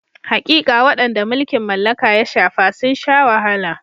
Haƙiƙa, waɗanda mulkin mallaka ya shafa sun sha wahala.